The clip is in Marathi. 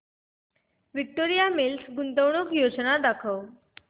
विक्टोरिया मिल्स गुंतवणूक योजना दाखव